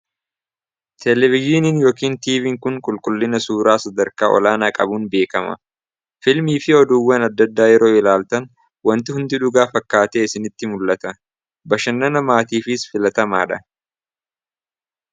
teeleviziiniin yookiin tiiviin kun qulqullina suuraa sadarkaa olaanaa qabuun beekama filmii fi oduuwwan addaddaa yeroo ilaaltan wanti hundi dhugaa fakkaatee isinitti mul'ata bashannana namaatiifis filatamaa dha